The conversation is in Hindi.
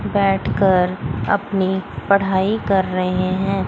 बैठकर अपनी पढ़ाई कर रहे हैं।